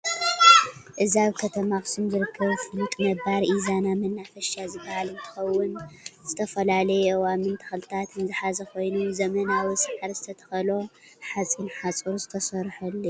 እዚ አብ ከተማ አክሱም ዝርከብ ፍሉጥ ነባር ኢዛና መናፈሻ ዝበሃል እንትኸውን ዝተፈላለዩ አእዋምን ተኽልታትን ዝሐዘ ኮይኑ ዘመናዊ ሰዓሪ ዝተተኸሎ ሐፂን ሐፁር ዝተሰርሐሉ እዩ።